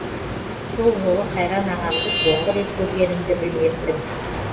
сол жолы қайран ағамды соңғы рет көргенімді білмеппін